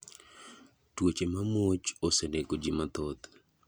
Tuoche mamuoch osenego ji mathoth.